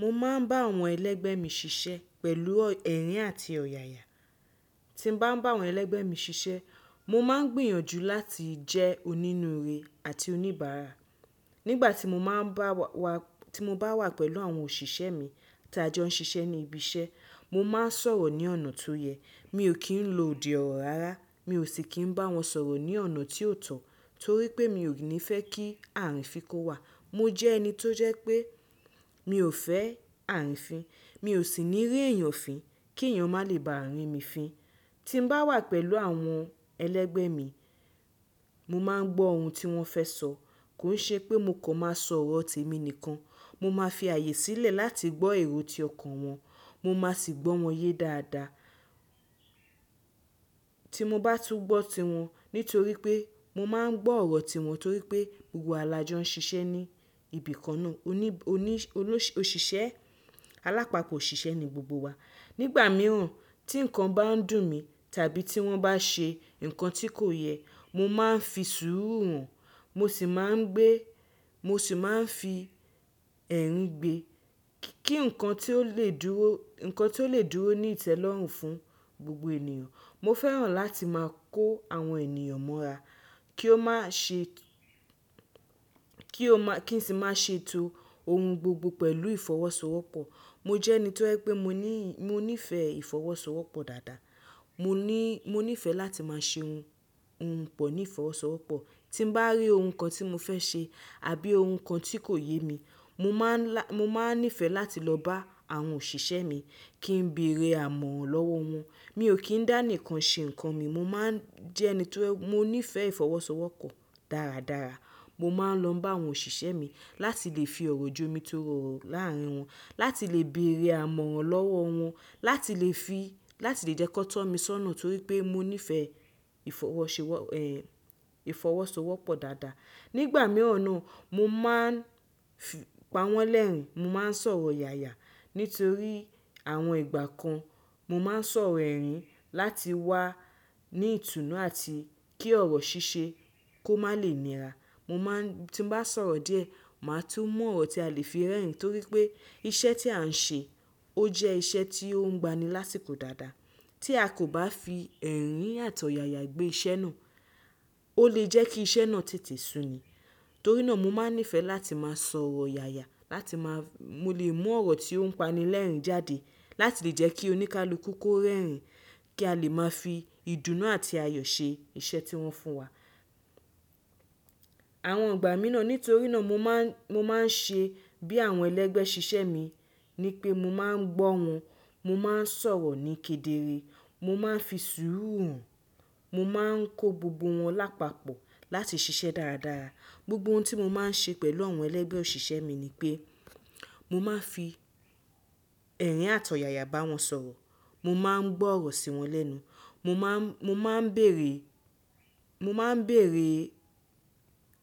Mo máa ń bá àwọn ẹlẹ́gbẹ́ mi ṣiṣẹ́ pẹ̀lú ẹ̀rín àti ọ̀yàyà. Tí mo bá ń bá àwọn ẹlẹ́gbẹ́ mi ṣiṣẹ́, mo máa ń gbìyànjú láti jẹ́ onínúure àti oníbàárà. Nígbà tí mo bá wà pẹ̀lú àwọn òṣìṣẹ́ mi tí a jọ ń ṣiṣẹ́ ní ibi iṣẹ́, mo máa ń sọ̀rọ̀ ní ọ̀nà tó yẹ. Mi ò kí ń lo òdì ọ̀rọ̀ rárá. Mi ò sì kí ń bá wọn sọ̀rọ̀ ní ọ̀nà tí kó tọ̀ torí pé mi ò ní fẹ́ kí àrifin kó wa. Mo jẹ́ ẹni tó jẹ́ pé mi ò fẹ́ àrifin. Mi ò sì ní rí èèyàn fín kí èèyàn má lè bá rimi fin. Tí n bá wà pẹ̀lú àwọn ẹlẹ́gbẹ́ mi, mo máa ń gbọ́ ohun tí wọ́n fẹ́ sọ. Kii ṣe pé mo kan máa s'ọ̀rọ̀ tèmi nìkan. Mo máa fi ààyè sílẹ̀ láti gbọ́ èrò tí ọkàn wọn. Mo si maa gbọ́ wọn yé dáadáa. Tí mo bá tún gbọ́ tiwọn nítorí pé mo máa ń gbọ́ ọ̀rọ̀ wọn torí pé gbogbo wa là jọ ń ṣiṣẹ́ ní ibìkan náà. Alajosisepo ni gbogbo wa. Nígbà mìíràn tí nǹkan bá ń dùn mí tàbí tí wọ́n bá ṣe nǹkan tí kò yẹ, mo máa ń fi sùúrù hàn mo si maa n gbe. Mo sì máa ń fi ẹ̀rín gbe kí nǹkan tí ó lè dúró ní ìtẹ́lọ́rùn fún gbogbo ènìyàn. Mo fẹ́ràn láti máa kó àwọn ènìyàn mọ́ra kí wọ́n sì má ṣe to ohun gbogbo pẹ̀lú ìfọwọ́sowọ́pọ̀. Mo jẹ́ ẹni tó jẹ́ pé mo ní ìfẹ́ ìfọwọ́sowọ́pọ̀ dáadáa. Mo ní ìfẹ́ láti máa ṣe ohun pọ̀ ní ìfọwọ́sowọ́pọ̀. Tí mo bá rí ohun kan tí mo fẹ́ ṣe àbí ohun kan tí kò yé mi, mo máa ń nífẹ̀ẹ́ láti lọ bá àwọn òṣìṣẹ́ mi kí n bí eré amọ̀ràn lọ́wọ́ wọn. Mi ò kí ń dá nìkan ṣe nǹkan mi. Mo ní ìfẹ́ ìfọwọ́sowọ́pọ̀ dáradára. Mo máa ń lọ bá àwọn òṣìṣẹ́ mi láti lè fi ọ̀rọ̀ ju omi tó rọrùn láàárín wọn, láti lè bèèrè amọ̀ràn lọ́wọ́ wọn, láti lè jẹ́ kó tọ́ mi sọ́nà torí pé mo ní ìfẹ́ ìfọwọ́sowọ́pọ̀ dáadáa. Nígbà mìíràn náà mo máa ń pa wọ́n lẹ́rìn-ín, mo máa ń sọ̀rọ̀ yaya nítorí àwọn ìgbà kan mo máa ń sọ̀rọ̀ ẹ̀rín láti wà ní ìtùnú àti kí ọ̀rọ̀ ṣíṣe kó má lè nira. Tí mo bá sọ̀rọ̀ díẹ̀, màá tún mọ ọ̀rọ̀ tí a lè fi rẹ́rìn-ín torí pé iṣẹ́ tí à ń ṣe ó jẹ́ iṣẹ́ tí ó ń gba ni lásìkò dáadáa. Tí a kò bá fi ẹ̀rín àti ọ̀yàyà gbé iṣẹ́ náà, ó lè jẹ́ kí iṣẹ́ náà tètè sun ni. Torí náà mo máa ń nífẹ̀ẹ́ láti máa sọ̀rọ̀ yaya láti lè mú ọ̀rọ̀ tí ó ń pani lẹ́rìn-ín jáde láti lè jẹ́ kí oníkálukú kó rẹ́rìn-ín kí a lè máa fi ìdùnnú àti àyò ṣe iṣẹ́ tí wọ́n fún wa. Àwọn ìgbà mìíràn nítorí náà mo máa ń ṣe bí àwọn ẹlẹ́gbẹ́ ṣiṣẹ́ mi ni pé mo máa ń gbọ́ wọn, mo máa ń sọ̀rọ̀ ní kedere, mo máa ń fi sùúrù hàn, mo máa ń kó gbogbo wọn lápapọ̀ láti ṣiṣẹ́ dáradára. Gbogbo ohun tí mo máa ń ṣe pẹ̀lú àwọn ẹlẹ́gbẹ́ òṣìṣẹ́ mi ni pé mo máa ń fi ẹ̀rín àti ọ̀yàyà bá wọn sọ̀rọ̀. Mo máa ń gbọ́ ọ̀rọ̀ sí wọn lẹ́nu, mo máa ń bèèrè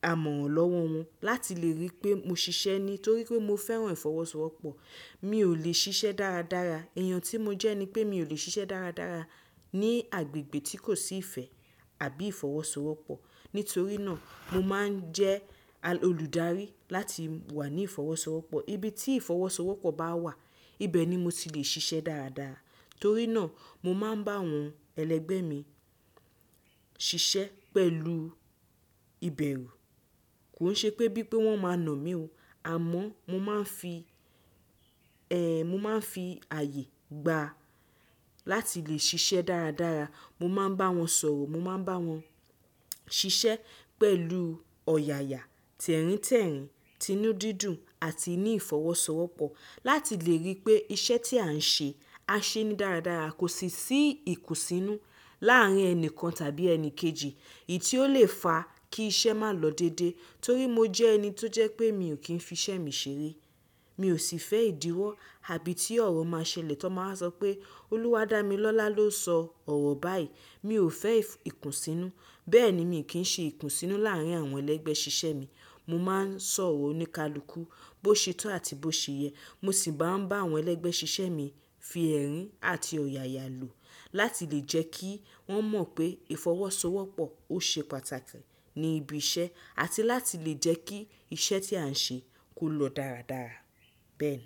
amọ̀ràn lọ́wọ́ wọn láti lè rí pé mo ṣiṣẹ́ ni torí pé mo fẹ́ràn ìfọwọ́sowọ́pọ̀. Èèyàn tí mo jẹ́ ni pé mi ò lè ṣiṣẹ́ dáradára ní agbègbè tí kò sí ìfẹ́ àbí ìfọwọ́sowọ́pọ̀. Nítorí náà mo máa ń jẹ́ olùdarí láti wà ní ìfọwọ́sowọ́pọ̀. Ibi tí ìfọwọ́sowọ́pọ̀ bá wà, ibẹ̀ ni mo ti lè ṣiṣẹ́ dáradára. Torí náà mo máa ń bá àwọn ẹlẹ́gbẹ́ mi ṣiṣẹ́ pẹ̀lú ìbẹ̀rù. Kò ṣe pé bí i pé wọ́n máa na mí ò, àmọ́ mo máa ń fi ààyè gba láti lè ṣiṣẹ́ dáradára. Mo máa ń bá wọn sọ̀rọ̀, mo máa ń bá wọn ṣiṣẹ́ pẹ̀lú ọ̀yàyà, tẹ̀ríntẹ̀rín, tinúdídùn àti ní ìfọwọ́sowọ́pọ̀ láti lè rí pé iṣẹ́ tí à ń ṣe, a ṣe ní dáradára, kò sí ìkùnsínú láàárín ẹni kan tàbí ẹni kejì èyí tí ó lè fa kí iṣẹ́ má lọ dédé. Torí mo jẹ́ ẹni tó jẹ́ pé mi ò kí ń fi iṣẹ́ mi ṣeré. Mi ò sì fẹ́ ìdíwọ́ àbí tí ọ̀rọ̀ má ṣẹlẹ̀ tí wọ́n máa sọ pé “Olúwadámilọ́lá ló sọ ọ̀rọ̀ báyìí”. Mi ò fẹ́ ìkùnsínú. Bẹ́ẹ̀ ni mi ò kí ń ṣe ìkùnsínú láàárín àwọn ẹlẹ́gbẹ́ ṣiṣẹ́ mi. Mo máa ń sọ̀rọ̀ oníkálukú bó ṣe tó àti bó ṣe yẹ. Mo sì máa ń bá àwọn ẹlẹ́gbẹ́ ṣiṣẹ́ mi fi ẹ̀rín àti ọ̀yàyà lò láti lè jẹ́ kí wọ́n mọ̀ pé ìfọwọ́sowọ́pọ̀ ó ṣe pàtàkì ní ibi iṣẹ́ àti láti lè jẹ́ kí iṣẹ́ tí à ń ṣe kó lọ dáradára. Bẹ́ẹ̀ ni.